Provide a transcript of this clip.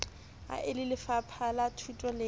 ha e lelefapha lathuto le